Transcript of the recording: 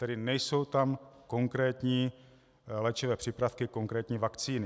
Tedy nejsou tam konkrétní léčivé přípravky, konkrétní vakcíny.